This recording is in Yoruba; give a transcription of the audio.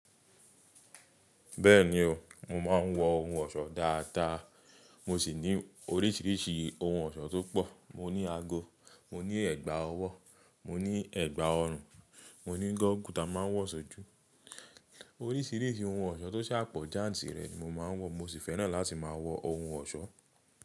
Bẹ́ẹ̀ni o, mo máa ń wọ ohun ọ̀ṣọ́ dáadáa. Mo sì ní oríṣiríṣi ohun ọ̀ṣọ́ tó pọ̀. Mo ní ago, mo ní ẹ̀gbà ọwọ́, mo ní ẹ̀gbà ọrùn, mo ní gọ́gù tá máa ń wọ̀ ṣojú. Oríṣiríṣi ohun ọ̀ṣọ́ tó ṣàpọ̀ jáǹtì rẹ̀ mo máa ń wọ̀. Mo sì fẹ́ràn láti máa wọ ohun ọ̀ṣọ́.